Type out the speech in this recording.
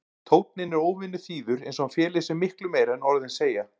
Tónninn er óvenju þýður eins og hann feli í sér miklu meira en orðin segja.